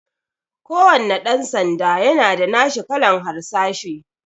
Kuwanna ɗan sanda yana da nashin kalan harsashi